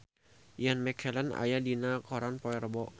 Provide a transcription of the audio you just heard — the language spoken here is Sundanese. Ian McKellen aya dina koran poe Rebo